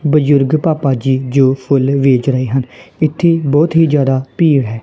ਬਜ਼ੁਰਗ ਪਾਪਾ ਜੀ ਜੋ ਫੁੱਲ ਵੇਚ ਰਹੇ ਹਨ ਇੱਥੇ ਬਹੁਤ ਹੀ ਜਿਆਦਾ ਭੀੜ ਹੈ।